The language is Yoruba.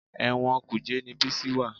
Ẹ̀wọ̀n Kùjẹ́ ni Bísí wà